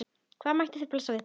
Hvaða hættur blasa við?